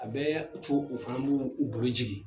A bɛ a co u fana b' u bolo jigi